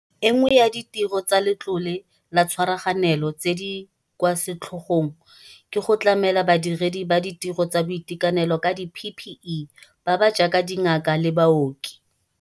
E nngwe ya ditiro tsa Letlole laTshwaraganelo tse di kwa setlhogong ke go tlamela badiredi ba ditiro tsa boitekanelo ka di-PPE ba ba jaaka dingaka le baoki.